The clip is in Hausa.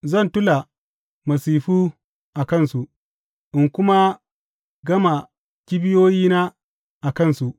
Zan tula masifu a kansu in kuma gama kibiyoyina a kansu.